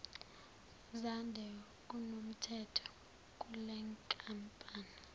zande kunomthetho kulenkampani